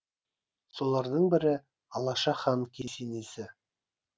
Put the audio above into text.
солардың бірі алаша хан кесенесі